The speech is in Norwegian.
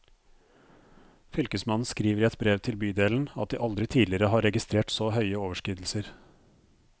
Fylkesmannen skriver i et brev til bydelen at de aldri tidligere har registrert så høye overskridelser.